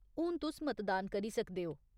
हून तुस मतदान करी सकदे ओ।